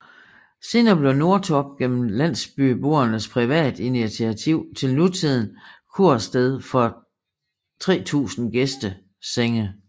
Senere blev Nordtorp gennem landsbyboernes privatinitiativ til nutidend kursted med 3000 gæstesennge